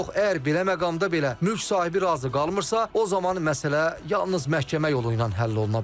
Yox, əgər belə məqamda belə mülk sahibi razı qalmırsa, o zaman məsələ yalnız məhkəmə yolu ilə həll oluna bilər.